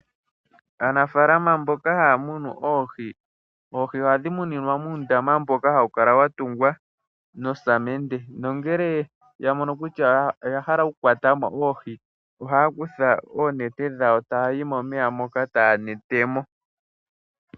Aanafaalama mboka haa munu oohi, oohi ohadhi kala dha tulwa muundama mboka walongwa mosamede, nongele ya mono kutya oya hala okukwata oohi, ohaa kutha oonete dhawo e taa yi momeya moka taa kwata mo.